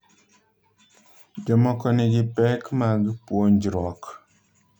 Jomoko nigi pek mag puonjruok.